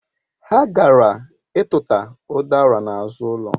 Ha gara ituta udara n'azụ ụlọ